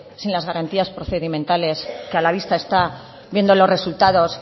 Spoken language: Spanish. sin las garantías procedimentales que a la vista está viendo los resultados